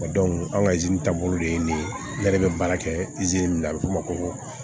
an ka taabolo de ye nin ye ne yɛrɛ bɛ baara kɛ min na a bɛ fɔ o ma ko